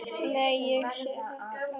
Nei, ég sagði það aldrei.